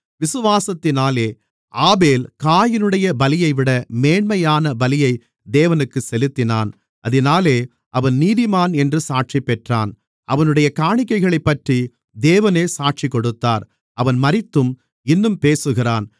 விசுவாசத்தினாலே ஆபேல் காயீனுடைய பலியைவிட மேன்மையான பலியை தேவனுக்குச் செலுத்தினான் அதினாலே அவன் நீதிமான் என்று சாட்சிபெற்றான் அவனுடைய காணிக்கைகளைப்பற்றி தேவனே சாட்சிகொடுத்தார் அவன் மரித்தும் இன்னும் பேசுகிறான்